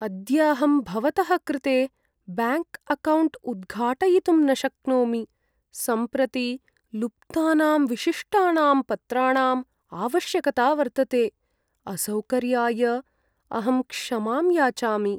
अद्य अहं भवतः कृते ब्याङ्क् अक्कौण्ट् उद्घाटयितुं न शक्नोमि। सम्प्रति लुप्तानां विशिष्टानां पत्राणां आवश्यकता वर्तते। असौकर्याय अहं क्षमां याचामि।